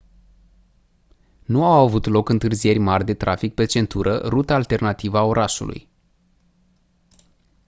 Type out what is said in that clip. nu au avut loc întârzieri mari de trafic pe centură ruta alternativă a orașului